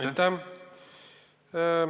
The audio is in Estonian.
Aitäh!